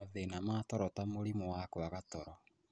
Mathĩna ma toro ta mũrimũ wa kwaga toro,